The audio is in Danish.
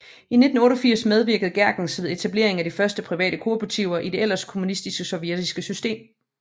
I 1988 medvirkede Gerkens ved etableringen af én af de første private kooperativer i det ellers kommunistiske sovjetiske system